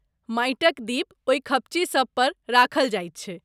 माटिक दीप ओहि खपच्ची सभ पर राखल जायत छै।